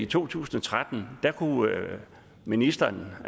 to tusind og tretten kunne ministeren